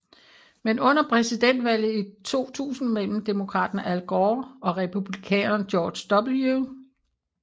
Men under præsidentvalget i 2000 mellem demokraten Al Gore og republikaneren George W